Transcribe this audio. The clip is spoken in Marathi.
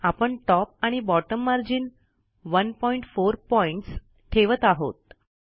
आपण टॉप आणि बॉटम मार्जिन १४ पॉईंटस ठेवत आहोत